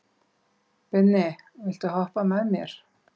Binni, viltu hoppa með mér?